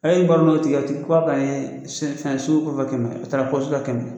E y'i baro tigi a tigi k'a ka ye fɛn so kɛmɛ, o taara la kɛmɛ